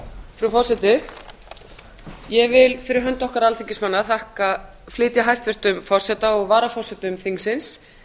frú forseti ég vil fyrir hönd okkar alþingismanna flytja hæstvirts forseta og varaforsetum þingsins